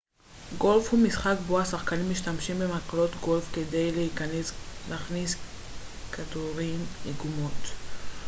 גולף הוא משחק בו השחקנים משתמשים במקלות גולף כדי להכניס כדורים לגומות